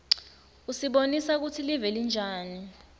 usibonisa kutsi live linjani